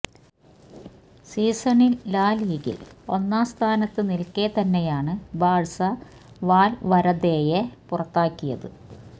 സീസണിൽ ലാ ലീഗയിൽ ഒന്നാം സ്ഥാനത്ത് നിൽക്കെ തന്നെയാണ് ബാഴ്സ വാൽവരദെയെ പുറത്താക്കിയത്